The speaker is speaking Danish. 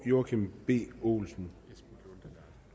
joachim b olsen